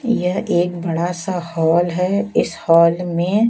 यह एक बड़ा सा हॉल है इस हॉल में--